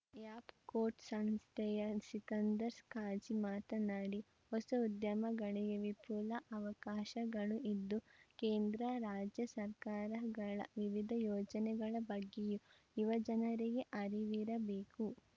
app ಕೋಟ್‌ ಸಂಸ್ಥೆಯ ಸಿಕಂದರ್‌ ಖಾಜಿ ಮಾತನಾಡಿ ಹೊಸ ಉದ್ಯಮಗಳಿಗೆ ವಿಫುಲ ಅವಕಾಶಗಳು ಇದ್ದು ಕೇಂದ್ರ ರಾಜ್ಯ ಸರ್ಕಾರಗಳ ವಿವಿಧ ಯೋಜನೆಗಳ ಬಗ್ಗೆಯೂ ಯುವ ಜನರಿಗೆ ಅರಿವಿರಬೇಕು